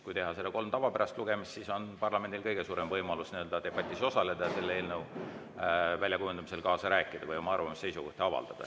Kui teha kolm tavapärast lugemist, siis on parlamendil kõige suurem võimalus debatis osaleda ja eelnõu väljakujundamisel kaasa rääkida või oma arvamusi ja seisukohti avaldada.